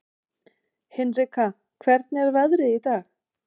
Hinrika, hvernig er veðrið í dag?